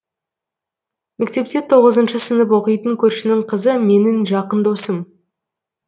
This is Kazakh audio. мектепте тоғызыншы сынып оқитын көршінің қызы менің жақын досым